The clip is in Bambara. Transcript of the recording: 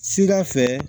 Sida fɛ